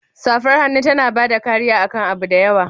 Safar hannu tana bada kariya akan abu da yawa.